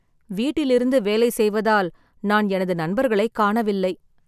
வீட்டிலிருந்து வேலை செய்வதால், நான் எனது நண்பர்களைக் காணவில்லை